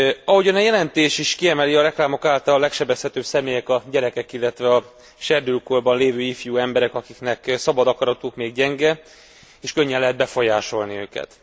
Ahogyan a jelentés is kiemeli, a reklámok által legsebezhetőbb személyek a gyerekek, illetve a serdülőkorban lévő ifjú emberek, akiknek szabad akaratuk még gyenge és könnyen lehet befolyásolni őket.